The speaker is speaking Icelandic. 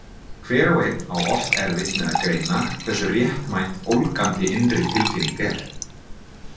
Hver og einn á oft erfitt með að greina hversu réttmæt ólgandi innri tilfinning er.